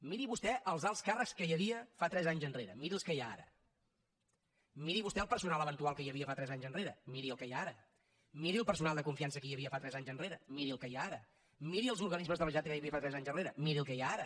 miri vostè els alts càrrecs que hi havia tres anys enrere miri els que hi ha ara miri vostè el personal eventual que hi havia tres anys enrere miri el que hi ha ara miri el personal de confiança que hi havia tres enrere miri el que hi ha ara miri els organismes de la generalitat que hi havia tres anys enrere miri els que hi ha ara